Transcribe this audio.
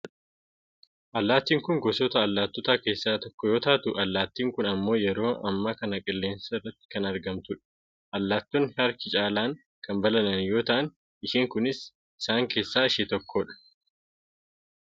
allaattiin kun gosoota allaattotaa keessaa tokko yoo taatu allaattiin kun ammoo yeroo ammaa kana qilleensa irratti kan argamtudha. allaattonni harki caalaan kan balali'an yoo ta'an isheen kunis isan keessaa ishee tokkodha.